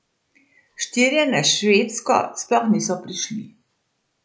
Štirje na Švedsko sploh niso prišli.